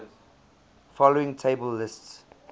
following table lists